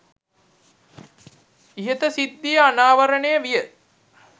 ඉහත සිද්ධිය අනාවරණය විය